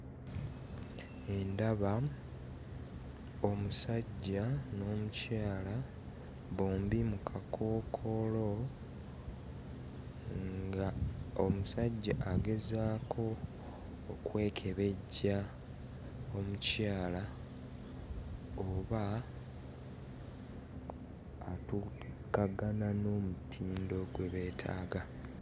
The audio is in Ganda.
Ndaba omusajja n'omukyala bombi mu kakookolo ng'omusajja agezaako okwekebejja omukyala oba atuukagana n'omutindo gwe beetaaga.